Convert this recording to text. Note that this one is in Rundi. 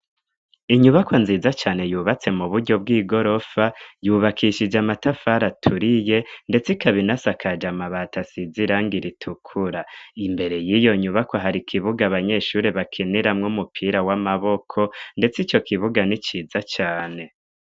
Inyubako nziza cane yubatse mu buryo bw'i gorofa yubakishije amatafari aturiye, ndetse ikabinasa akaje amabata asizirango iritukura imbere y'iyo nyubako hari ikibuga abanyeshuri bakeneramwo umupira w'amaboko, ndetse ico kibuga ni ciza cane.